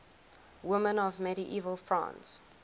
women of medieval france